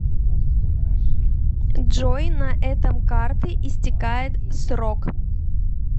джой на этом карты истекает срок